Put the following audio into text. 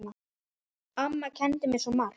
Amma kenndi mér svo margt.